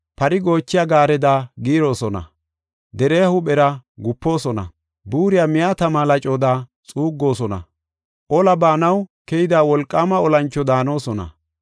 Pari goochiya gaareda giiroosona; deriya huuphera gupoosona. Buuriya miya tama lacoda xuuggoosona; ola baanaw keyida wolqaama olancho daanosona.